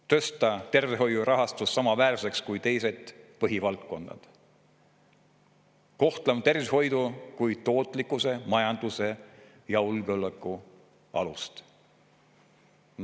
Tuleb tõsta tervishoiu rahastus samaväärseks kui teised põhivaldkonnad ja kohtlema tervishoidu kui tootlikkuse, majanduse ja julgeoleku alust.